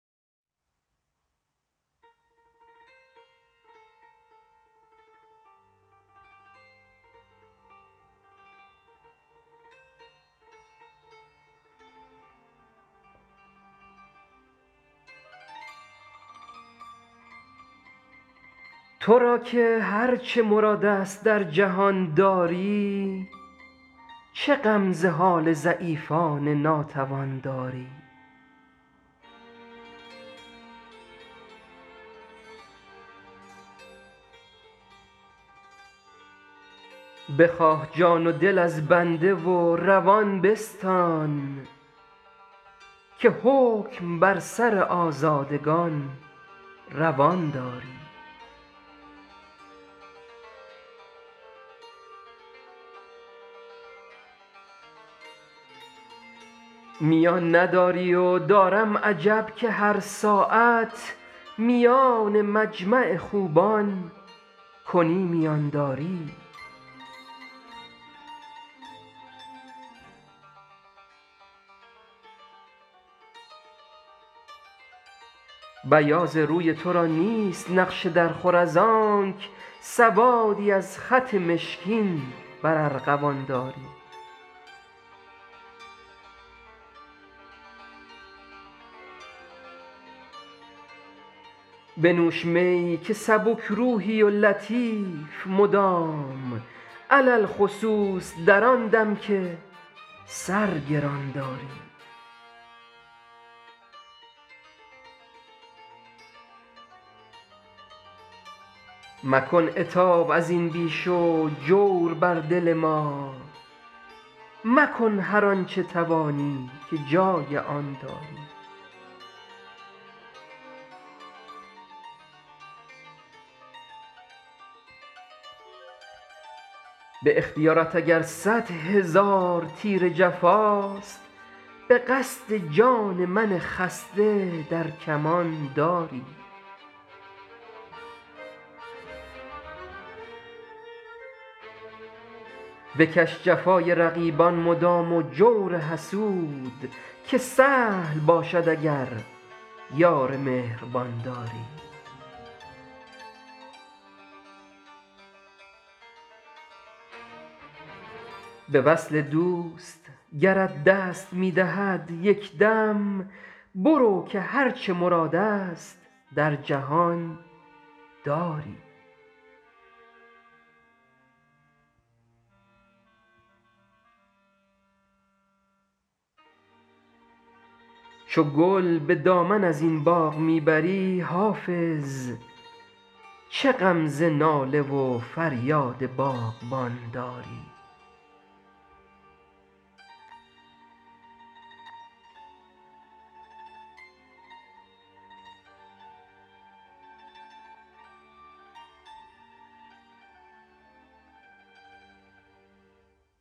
تو را که هر چه مراد است در جهان داری چه غم ز حال ضعیفان ناتوان داری بخواه جان و دل از بنده و روان بستان که حکم بر سر آزادگان روان داری میان نداری و دارم عجب که هر ساعت میان مجمع خوبان کنی میان داری بیاض روی تو را نیست نقش درخور از آنک سوادی از خط مشکین بر ارغوان داری بنوش می که سبک روحی و لطیف مدام علی الخصوص در آن دم که سر گران داری مکن عتاب از این بیش و جور بر دل ما مکن هر آن چه توانی که جای آن داری به اختیارت اگر صد هزار تیر جفاست به قصد جان من خسته در کمان داری بکش جفای رقیبان مدام و جور حسود که سهل باشد اگر یار مهربان داری به وصل دوست گرت دست می دهد یک دم برو که هر چه مراد است در جهان داری چو گل به دامن از این باغ می بری حافظ چه غم ز ناله و فریاد باغبان داری